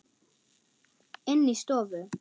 Inni í stofu.